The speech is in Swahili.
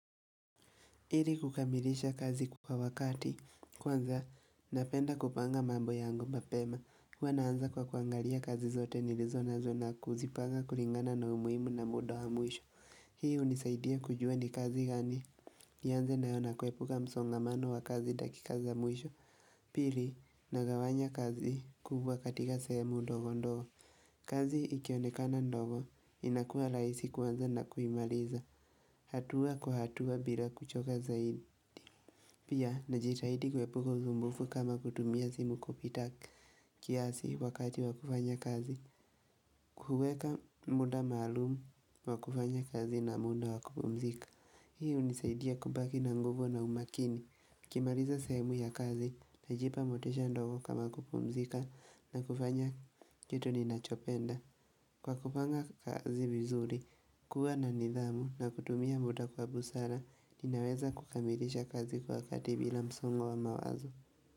Hili kukamilisha kazi kwa wakati, kwanza napenda kupanga mambo yangu mbapema Hwa naanza kwa kuangalia kazi zote nilizo na zona kuzipanga kulingana na umuimu na muda wa muisho Hii unisaidia kujua ni kazi gani, yanze nayo nakwepuka msongamano wa kazi dakikaza muisho Pili, nagawanya kazi kuhuwa katika semu ndogo ndogo kazi ikionekana ndogo, inakua laisi kwanza na kuimaliza, hatua kwa hatua bila kuchoka zaidi Pia, najitahidi kwepuko zumbufu kama kutumia zimu kupitak kiasi wakati wakufanya kazi. Kuhueka muda malumu, wakufanya kazi na muda wakupumzika. Hii hunisaidia kubaki na nguvu na umakini. Kimaliza semu ya kazi, najipa motisha ndogo kama kupumzika na kufanya kitu ninachopenda. Kwa kupanga kazi vizuri, kuwa na nidhamu na kutumia muda kwa busara, Ninaweza kukambilisha kazi kwa wakati bila msongo wa mawazo.